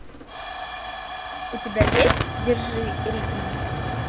у тебя есть держи ритм